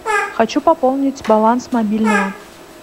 хочу пополнить баланс мобильного